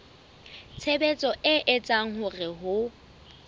tshebetso e etsang hore ho